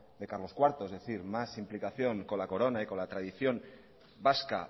de carlos cuarto es decir más implicación con la corona y con la tradición vasca